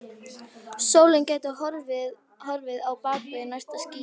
Sólin gæti horfið á bak við næsta ský.